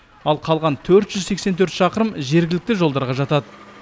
ал қалған төрт жүз сексен төрт шақырым жергілікті жолдарға жатады